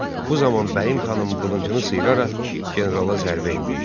Bu zaman Bəyim xanım qılıncını sıyıraraq generala zərbə endirdi.